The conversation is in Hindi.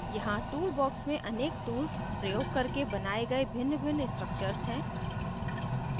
यहाँ tools box में अनेक tools प्रयोग करके बनाये गए भिन्नभिन्न structures हैं